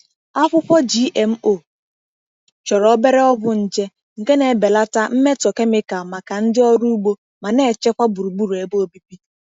Akwụkwọ GMO chọrọ obere ọgwụ nje, nke na-ebelata mmetọ kemịkalụ maka ndị ọrụ ugbo ma na-echekwa gburugburu ebe obibi.